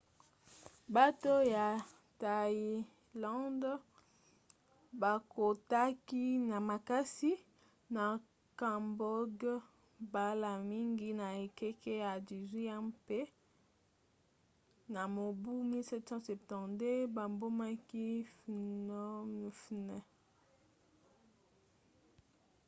bato ya thaïlande bakotaki na makasi na cambodge mbala mingi na ekeke ya 18 mpe na mobu 1772 babomaki phnom phen